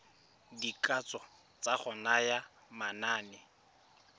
dikatso tsa go naya manane